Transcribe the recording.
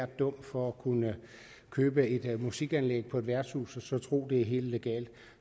dum for at kunne købe et musikanlæg på et værtshus og så tro er helt legalt